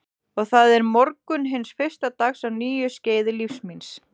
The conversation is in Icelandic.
Og það er morgunn hins fyrsta dags á nýju skeiði lífs míns.